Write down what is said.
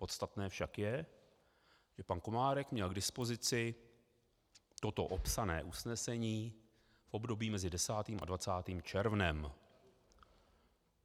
Podstatné však je, že pan Komárek měl k dispozici toto opsané usnesení v období mezi 10. a 20. červnem.